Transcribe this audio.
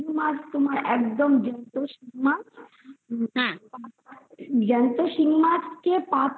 শিঙমাছ আছে ওটা জ্যান্ত শিঙমাছকে পাতলা